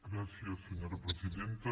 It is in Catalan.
gràcies senyora presidenta